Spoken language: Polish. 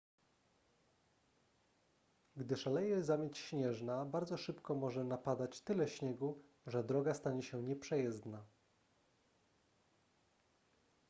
gdy szaleje zamieć śnieżna bardzo szybko może napadać tyle śniegu że droga stanie się nieprzejezdna